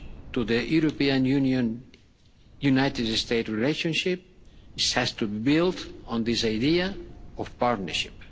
to the European Union United States relationship has to build on this idea of partnership.